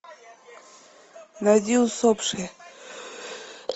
найди усопшие